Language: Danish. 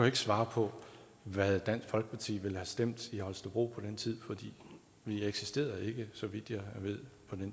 ikke svare på hvad dansk folkeparti ville have stemt i holstebro på den tid for vi eksisterede ikke så vidt jeg ved